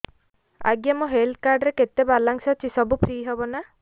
ଆଜ୍ଞା ମୋ health card ରେ କେତେ ବାଲାନ୍ସ ଅଛି ସବୁ ଫ୍ରି ହବ ନାଁ